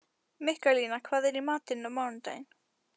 Mikkalína, hvað er í matinn á mánudaginn?